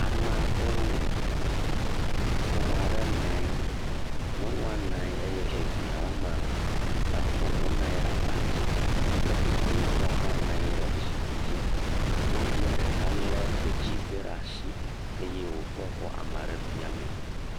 Amaa ɖewo. Ƒome aɖe na anyi. Nyɔnua na anyi eye evia woame etɔ̃ wonɔ anyi ɖe abadzi. Ke tukuitɔ hã na anyi ɖe zikpi dzi. Nyɔnuvia ɖeka lé detsize ɖe ashi eye wòkɔ kɔ ame aɖe fiamee.